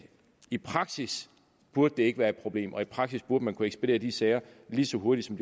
i praksis burde det ikke være et problem og i praksis burde man kunne ekspedere de sager lige så hurtigt som